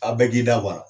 A bɛɛ k'i da bɔ a la